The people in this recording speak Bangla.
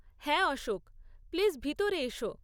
হ্যাঁ অশোক, প্লিজ ভিতরে এসো।